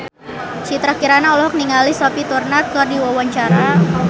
Citra Kirana olohok ningali Sophie Turner keur diwawancara